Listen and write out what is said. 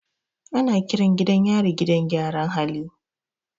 Ana kiran gidan yari gidan gyaran hali.